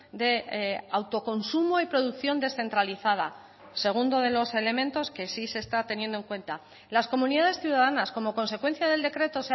de autoconsumo y producción descentralizada segundo de los elementos que sí se está teniendo en cuenta las comunidades ciudadanas como consecuencia del decreto